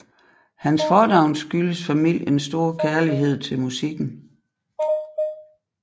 Hans fornavn skyldtes familiens store kærlighed til musikken